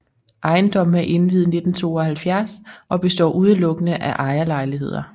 Ejendommen er indviet 1972 og består udelukkende af ejerlejligheder